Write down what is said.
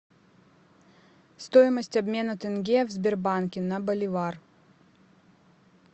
стоимость обмена тенге в сбербанке на боливар